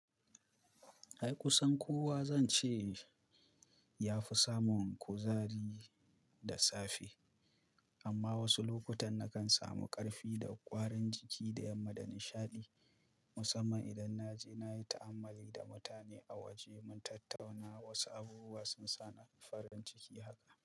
Ai kusan kowa zan ce yafi samun kuzari da safe. Amma wasu lokutan nakan samu ƙarfi da ƙwarin jiki da yamma da nishaɗi. Musamman idan naje nayi ta'ammali da mutane a waje mun tattauna wasu abubuwa sun sa ni farin ciki haka.